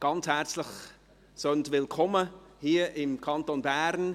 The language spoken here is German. Seien Sie ganz herzlich willkommen hier im Kanton Bern!